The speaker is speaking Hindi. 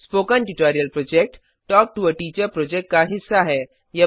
spoken tutorial project talk to a teacher project का हिस्सा है